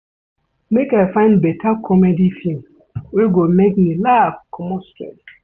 Make I find beta comedy film wey go make me laugh comot stress.